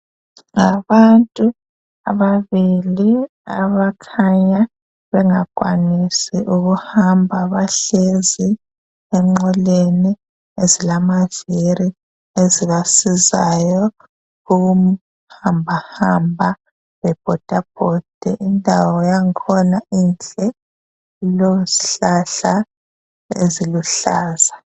Abantu ababili abakhanya bengakwanisi ukuhamba, bahlezi enqoleni ezilamavili ezibasizayo ukuhambahamba, bebhodabhode. Indawo yakhona inhle, ilezihlahla eziluhlaza.